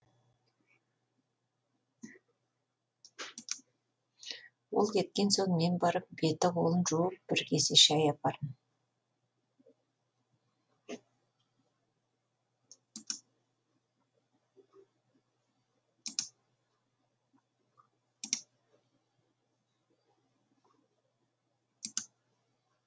ол кеткен соң мен барып беті қолын жуып бір кесе шәй апардым